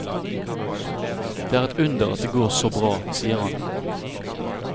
Det er et under at det går så bra, sier han.